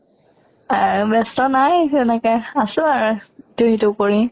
আহ ব্য়স্ত নাই তেনেকে আছো আৰু দিন টো পৰি